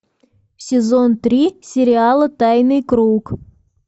сезон три сериала тайный круг